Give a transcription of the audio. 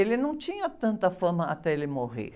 Ele não tinha tanta fama até ele morrer.